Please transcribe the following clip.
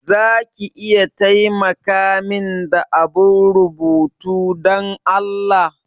Za ki iya taimaka min da abun rubutu Dan Allah?